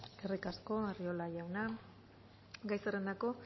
eskerrik asko arriola jauna gai zerrendako